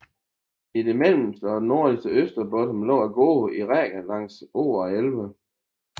I det mellemste og nordlige Österbotten lå gårdene i rækker langs åer og elve